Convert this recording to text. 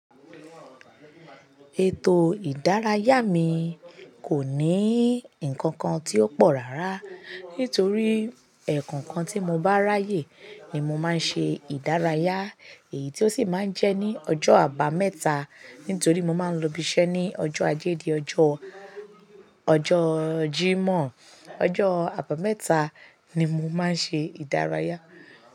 Ètò ìdárayá mi kò ní nǹkan kan tí ó pọ̀ rárá, nítorí ẹ̀kọ̀nkan tí mo bá ráyè ni mo máa ń ṣe ìdárayá, èyí tí ó sì máa ń jẹ́ ní ọjọ́ Àbàmẹ́ta nítorí mo máa ń lọ ibi iṣẹ́ ní ọjọ́ Ajé, dí ọjọ́, ọjọ́ Jímọ̀. Ọjọ́ Àbàmẹ́ta ni mo máa ń ṣe ìdárayá.